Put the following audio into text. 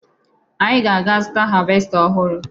Anyị ga-aga zụta havesta ọhụrụ